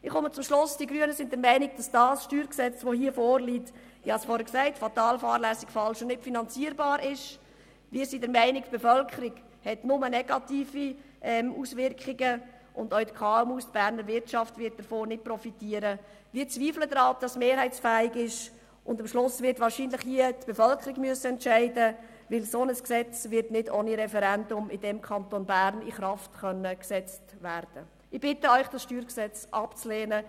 Wir sind überzeugt, dass der Kanton über gewisse Vorteile wie Infrastruktur, Fachkräfte, Bundesbern und so weiter verfügt, die bewirken, dass diese Unternehmen nicht so schnell wegziehen.